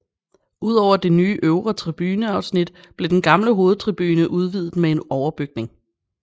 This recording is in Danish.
Ud over det nye øvre tribuneafsnit blev den gamle hovedtribune udvidet med en overbygning